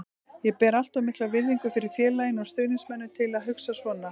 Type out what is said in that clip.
Ég ber allt of mikla virðingu fyrir félaginu og stuðningsmönnunum til að hugsa svona.